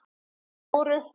Þær voru: